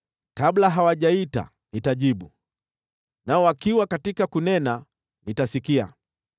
Kabla hawajaita, nitajibu, nao wakiwa katika kunena, nitasikia.